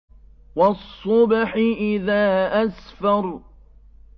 وَالصُّبْحِ إِذَا أَسْفَرَ